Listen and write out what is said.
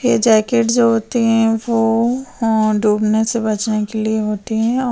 ये जैकेट जो होती हैं वो डूबने से बचने के लिए होती है और --